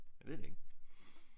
Jeg ved det ikke